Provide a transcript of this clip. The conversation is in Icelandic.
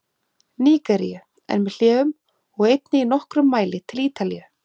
Nígeríu, en með hléum, og einnig í nokkrum mæli til Ítalíu.